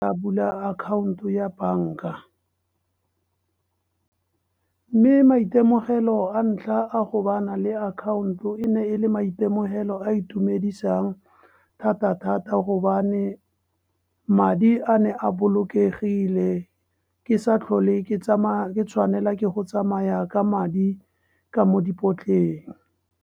A bula akhaonto ya banka mme maitemogelo a ntlha a go bana le account e ne e le maitemogelo a itumedisang thata- thata gobane madi a ne a bolokegile ke sa tlhole ke tsamaya ke tshwanela ke go tsamaya ka madi ka mo dipotleng.